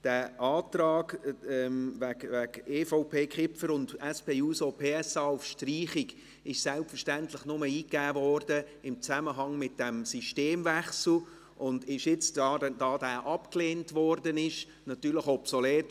Die Anträge EVP/Kipfer und SP-JUSO-PSA auf Streichung wurden selbstverständlich nur im Zusammenhang mit diesem Systemwechsel eingegeben und sind jetzt, da diese abgelehnt wurden, natürlich obsolet.